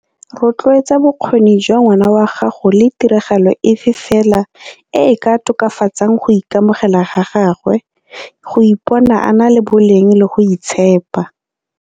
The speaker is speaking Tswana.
Rotloetsa bokgoni jwa ngwana wa gago le tiragalo efe fela e e ka tokafatsang go ikamogela ga gagwe, go ipona a na le boleng le go itshepa.